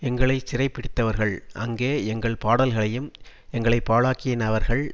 எங்களை சிறைபிடித்தவர்கள் அங்கே எங்கள் பாடல்களையும் எங்களை பாழாக்கினவர்கள்